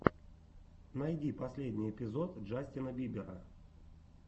найди последний эпизод джастина бибера